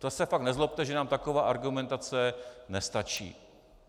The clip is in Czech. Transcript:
To se pak nezlobte, že nám taková argumentace nestačí.